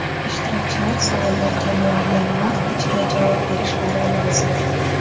Ishtirokchilar savollarga muayyan vaqt ichida javob berishlari lozim.